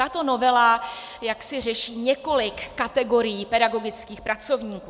Tato novela jaksi řeší několik kategorií pedagogických pracovníků.